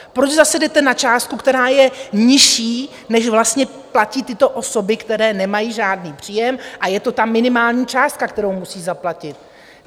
Proč zase jdete na částku, která je nižší, než vlastně platí tyto osoby, které nemají žádný příjem, a je to ta minimální částka, kterou musí zaplatit?